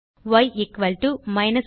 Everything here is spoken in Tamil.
ய் 25